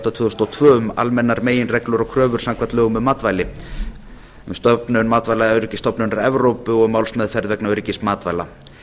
átta tvö þúsund og tvö um almennar meginreglur og kröfur samkvæmt lögum um matvæli um stofnun matvælaöryggisstofnunar evrópu og um málsmeðferð vegna öryggis matvæla